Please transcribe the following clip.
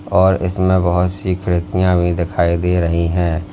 और इसमें बहोत सी खिड़कियां भी दिखाई दे रही हैं।